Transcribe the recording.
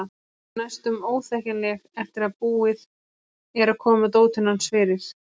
Hún er næstum óþekkjanleg eftir að búið er að koma dótinu hans fyrir.